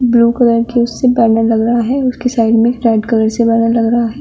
Blue colour के उससे banner लग रहा है। उसके साइड में रेड कलर से बैनर लग रहा है।